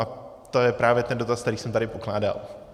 A to je právě ten dotaz, který jsem tady pokládal.